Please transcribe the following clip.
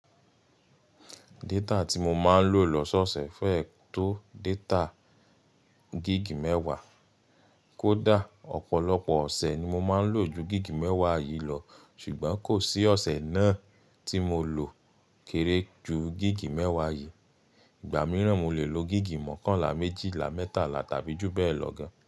Data tí mo máa ń lò lọ́sọ́ọ̀ṣẹ̀ fẹ́ẹ́ tó data gig mẹ́wàá. Kó dà, ọ̀pọ̀lọpọ̀ ọ̀sẹ̀ ni mo máa ń lò ju gig mẹ́wàá yìí lọ, ṣùgbọ́n kò sí ọ̀sẹ̀ náà tí mo lò kéré ju gig mẹ́wàá yìí. Ìgbà mìíràn mo lè lo gig mọ́kànlá, méjìlá, mẹ́tàlá tàbí jù bẹ́ẹ̀ lọ gan.